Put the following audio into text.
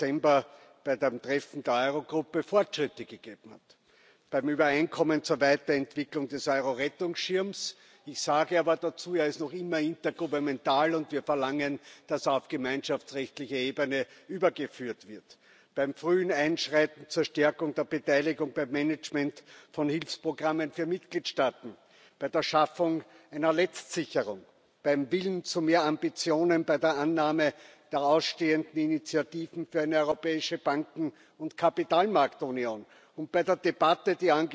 3. Dezember beim Treffen der Euro Gruppe Fortschritte gegeben hat, beim Übereinkommen zur Weiterentwicklung des Euro Rettungsschirms ich sage aber dazu Er ist noch immer intergouvernemental, und wir verlangen, dass er auf gemeinschaftsrechtliche Ebene übergeführt wird beim frühen Einschreiten zur Stärkung der Beteiligung beim Management von Hilfsprogrammen für Mitgliedstaaten, bei der Schaffung einer Letztsicherung, beim Willen zu mehr Ambitionen bei der Annahme der ausstehenden Initiativen für eine europäische Banken und Kapitalmarktunion und bei der Debatte